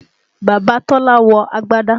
Bàbá Tọ́lá wọ agbâdá